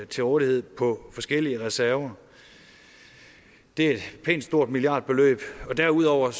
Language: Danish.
til rådighed på forskellige reserver det er et pænt stort milliardbeløb og derudover